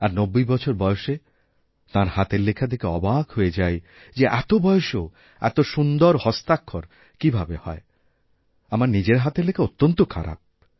আর নব্বই বছর বয়সে তাঁর হাতের লেখা দেখে অবাক হয়ে যাইযে এত বয়সেও এত সুন্দর হস্তাক্ষর কীভাবে হয় আমার নিজের হাতের লেখা অত্যন্ত খারাপ